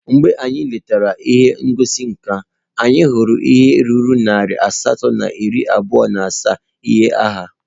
Mgbe anyị letara ihe ngosi nka, anyị hụrụ ihe karịrị narị asatọ na iri abụọ na asaa ihe agha